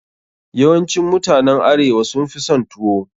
Yawancin mutanen arewa sun fi son tuwo.